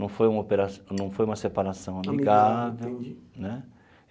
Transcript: Não foi uma opera não foi uma separação amigável né.